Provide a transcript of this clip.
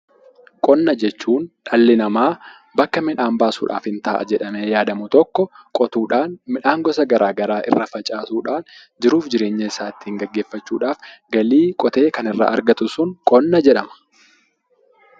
Qonna jechuun dhalli namaa bakka miidhaan baasuudhaaf hin ta'a jedhamee yaadamu tokko qotuudhaan midhaan gosa gara garaa irra facaasuu dhaan, jiruuf jireenya isaa ittiin geggeeffachuudhaaf galii qotee kan irraa argatu sun 'Qonna' jedhama.